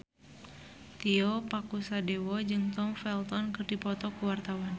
Tio Pakusadewo jeung Tom Felton keur dipoto ku wartawan